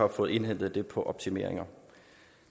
indhentet det på optimeringer